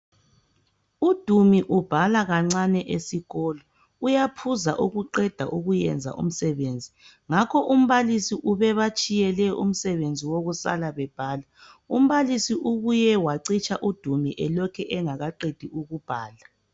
UDumi ubhala kancane esikolo, uyaphuza ukuqeda ukuyenza umsebenzi, ngakho umbalisi ubebatshiyele umsebenzi wokusala bebhala. Umbalisi ubuye wacitsha udumi elokhe engakaqedi ukubhala